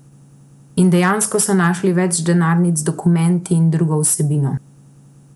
In dejansko so našli več denarnic z dokumenti in drugo vsebino.